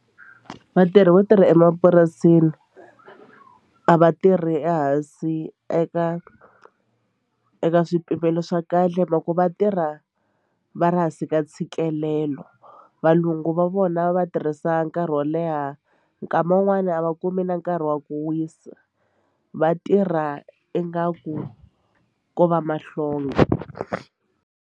Vatirhi vo tirha emapurasini a va tirhi ehansi eka eka swipimelo swa kahle hi mhaku va tirha va ri hansi ka ntshikelelo valungu va vona va tirhisa nkarhi wo leha nkama wun'wani a va kumi na nkarhi wa ku wisa va tirha ingaku ko va mahlonga.